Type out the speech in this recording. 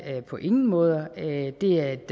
på ingen måde det er et